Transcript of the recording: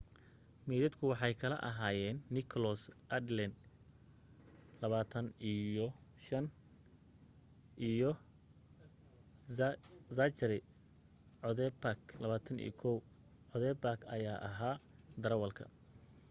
maydadku waxay kala ahaayeen nicholas alden 25 iyo zachary cuddebak,21. cuddeback ayaa ahaa darawalka